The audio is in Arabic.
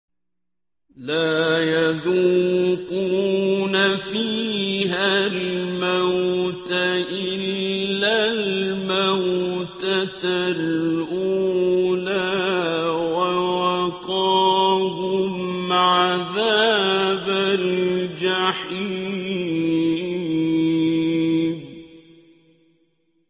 لَا يَذُوقُونَ فِيهَا الْمَوْتَ إِلَّا الْمَوْتَةَ الْأُولَىٰ ۖ وَوَقَاهُمْ عَذَابَ الْجَحِيمِ